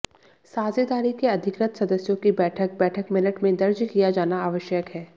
साझेदारी के अधिकृत सदस्यों की बैठक बैठक मिनट में दर्ज किया जाना आवश्यक है